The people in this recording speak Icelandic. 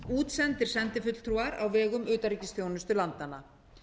útsendir sendifulltrúar á vegum utanríkisþjónustu landanna